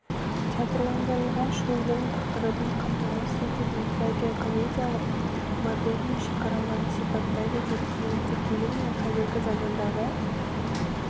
театрландырылған шоудың тақырыбын қамтамасыз ететін трагикомедиялық модерннің шекараларын сипаттайды деп кеңестік кезең мен қазіргі замандағы